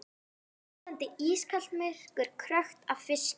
Fljótandi, ískalt myrkur, krökkt af fiski.